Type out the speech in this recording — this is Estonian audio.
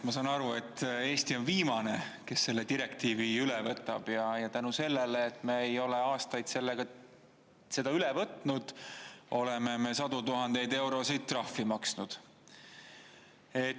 Ma saan aru, et Eesti on viimane, kes selle direktiivi üle võtab, ja tänu sellele, et me ei ole aastaid seda üle võtnud, oleme me sadu tuhandeid eurosid trahvi maksnud.